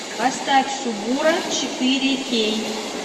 поставь субура четыре кей